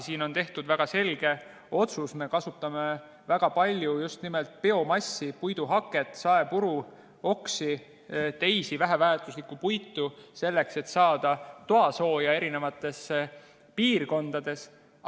Siin on tehtud selge otsus, et me kasutame väga palju just nimelt biomassi, puiduhaket, saepuru, oksi ja muud väheväärtuslikku puitu selleks, et saada toasooja eri piirkondades.